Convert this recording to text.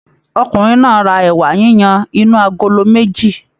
Ọkùnrin náà á ra ẹ̀wà yiyan inú agolo méjì